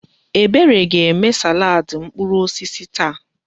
Ebere ga-eme salaadị mkpụrụ osisi taa.